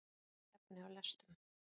Hafa ekki efni á lestum